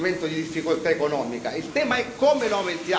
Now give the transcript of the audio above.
Il tema è come lo aumentiamo, per cosa lo aumentiamo.